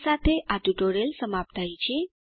આ સાથે આ ટ્યુટોરીયલ સમાપ્ત થાય છે